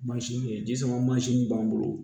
Mansin ye ji sama mansin min b'an bolo